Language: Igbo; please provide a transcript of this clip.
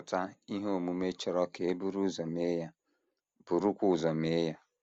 Chọpụta ihe omume chọrọ ka e buru ụzọ mee ya, burukwa ụzọ mee ya.